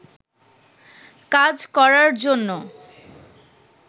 কাজ করার জন্য